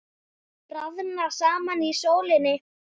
Að bráðna saman í sólinni